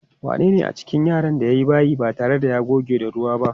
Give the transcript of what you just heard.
Wanene a cikin yaran da ya yi bayi ba tare da ya goge da ruwa ba?